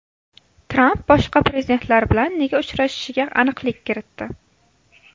Tramp boshqa prezidentlar bilan nega uchrashishiga aniqlik kiritdi.